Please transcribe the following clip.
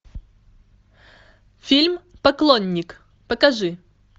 фильм поклонник покажи